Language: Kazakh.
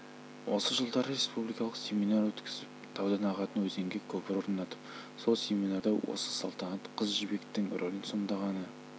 осы жылдары республикалық семинар өткізіп таудан ағатын өзенге көпір орнатып сол семинарда осы салтанат қыз жібектің рөлін сомдағаны